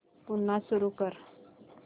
पुन्हा सुरू कर